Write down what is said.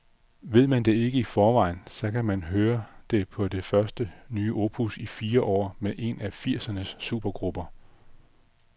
Ved man ikke det i forvejen, så kan man høre det på det første nye opus i fire år med en af firsernes supergrupper.